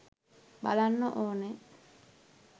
බලන්න ඕනේ